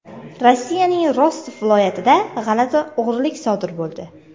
Rossiyaning Rostov viloyatida g‘alati o‘g‘rilik sodir bo‘ldi.